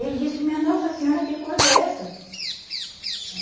Ele disse, minha nossa senhora, que coisa é essa?